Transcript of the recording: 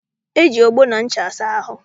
Eji ogbo na ncha asa ahụ.